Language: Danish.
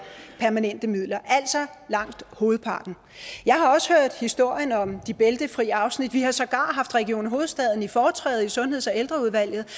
permanente midler altså langt hovedparten jeg har også hørt historien om de bæltefri afsnit vi har sågar haft region hovedstaden i foretræde i sundheds og ældreudvalget